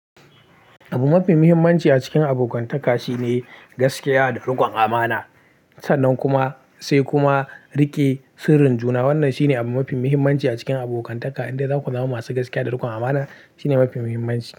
Abu mafi muhimmanci a cikin abokantaka shine gaskiya da riƙon amana. Sannan kuma sai kuma riƙe sirrin juna. Wannan shine abu mafi muhimmanci a cikin abokantaka, inda zaku zama masu gaskiya da riƙon amana shine mafi muhimmanci.